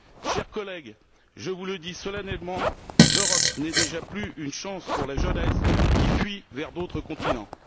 Chers collègues, je vous le dis solennellement l'Europe n'est déjà plus une chance pour la jeunesse, qui fuit vers d'autres continents.